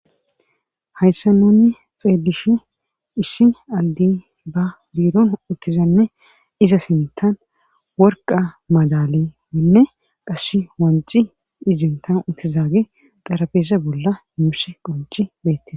hayssa nunni xeelishin issi aldi ba biiron ukkizanne iza sintan worqa madalewinne qash wanci izintan utizaage xarabeese bolla muushe qonci beette